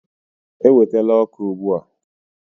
Ewetala ọkụ ugbu a.